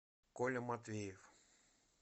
коля матвеев